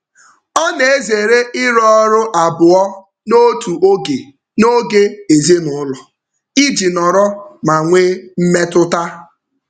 Ọ na-ezere ịrụ ọrụ abụọ n'otu oge n'oge ezinụụlọ iji nọrọ ma nwee mmetụta.